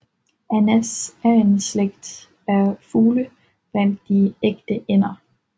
Anas er en slægt af fugle blandt de ægte ænder